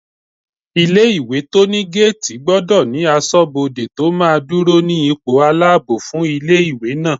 Ilé-ìwé tó ní géètì gbọdọ̀ ní asọ́bodè tó máa dúró ní ipò aláàbò fún ilé-ìwé náà